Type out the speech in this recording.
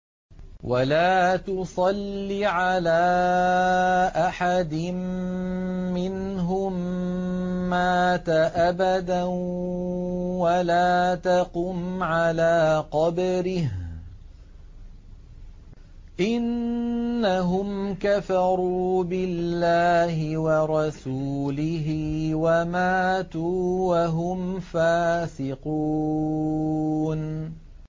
وَلَا تُصَلِّ عَلَىٰ أَحَدٍ مِّنْهُم مَّاتَ أَبَدًا وَلَا تَقُمْ عَلَىٰ قَبْرِهِ ۖ إِنَّهُمْ كَفَرُوا بِاللَّهِ وَرَسُولِهِ وَمَاتُوا وَهُمْ فَاسِقُونَ